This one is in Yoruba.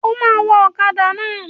O máa wa ọkàdà náà.